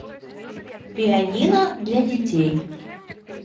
пианино для детей